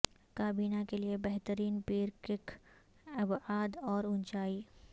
کابینہ کے لئے بہترین پیر کک ابعاد اور اونچائی